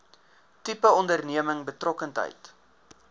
tipe onderneming betrokkenheid